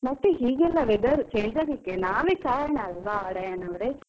ಮತ್ತೆ ಹೀಗೆಲ್ಲಾ weather change ಆಗಲಿಕ್ಕೆ ನಾವೇ ಕಾರಣ ಅಲ್ವಾ ಡಯಾನಾ ಅವ್ರೆ?